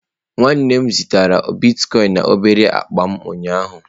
Nwanne m zitere bitkọin na obere akpa m ụnyaahụ.